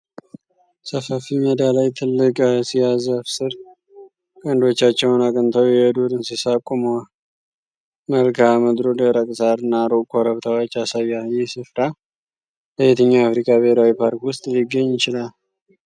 ሰፋፊ ሜዳ ላይ ትልቅ አሲያ ዛፍ ስር ቀንዶቻቸውን አቅንተው የዱር እንስሳት ቆመዋል። መልክአ ምድሩ ደረቅ ሣር እና ሩቅ ኮረብታዎች ያሳያል። ይህ ስፍራ በየትኛው የአፍሪካ ብሔራዊ ፓርክ ውስጥ ሊገኝ ይችላል?